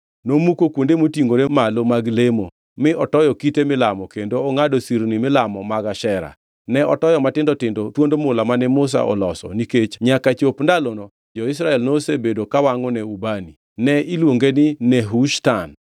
Nomuko kuonde motingʼore malo mag lemo, mi otoyo kite milamo kendo ongʼado sirni milamo mag Ashera. Ne otoyo matindo tindo thuond mula mane Musa oloso, nikech nyaka chop ndalono jo-Israel nosebedo kawangʼo ne ubani (ne iluonge ni Nehushtan).